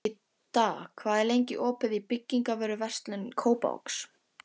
Idda, hvað er lengi opið í Byko?